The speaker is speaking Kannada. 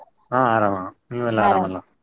ಹೌದು ಆರಾಮ್, ?